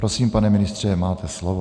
Prosím, pane ministře, máte slovo.